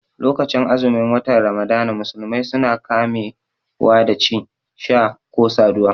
Lokacin azumin wata ramadana musulmai suna kame wa da ci, sha ko saduwa